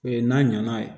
O ye n'a ɲana